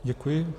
Děkuji.